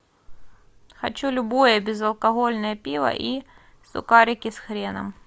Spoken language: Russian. хочу любое безалкогольное пиво и сухарики с хреном